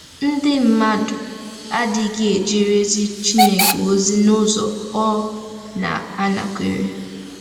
Ndị mmadụ adịghị ejere ezi Chineke ozi n’ụzọ ọ na-anakwere.